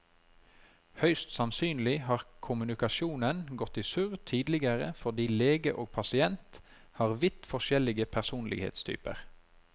Høyst sannsynlig har kommunikasjonen gått i surr tidligere fordi lege og pasient har vidt forskjellig personlighetstyper.